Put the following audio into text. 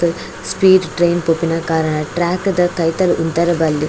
Speed train ಪೋಪುನ ಕಾರಣ track ದ ಕೈತಲ್ ಉಂತರೆ ಬಲ್ಲಿ.